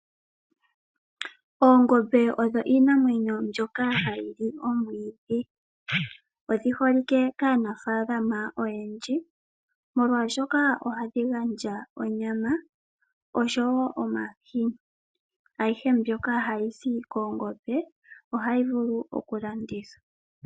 Oongombe odho iinamwenyo mbyoka ha yili omwiidhi. Ongombe ohayi zi omahini haga liwa no sho woo onyama . Ohayi vulu woo okulandithwapo.